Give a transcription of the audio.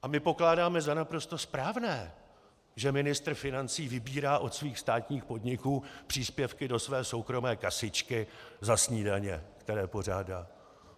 A my pokládáme za naprosto správné, že ministr financí vybírá od svých státních podniků příspěvky do své soukromé kasička za snídaně, které pořádá.